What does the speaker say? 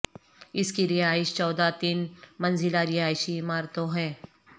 اس کی رہائش چودہ تین منزلہ رہائشی عمارتوں ہے